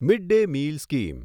mid day meal scheme